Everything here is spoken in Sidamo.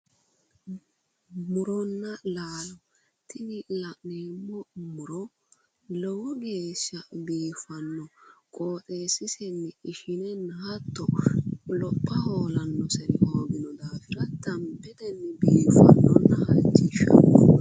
Muronna laalo tini la'neemmo muro lowo geeshsha biiffanno qooxeessisenni ishinenna hattono lopha hoolannori hoogino daafira dambetenni biiffannonna halchishshanno.